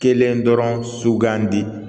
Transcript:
Kelen dɔrɔn sugandi